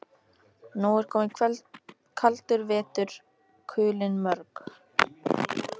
Nú er kominn kaldur vetur, kulin mörg.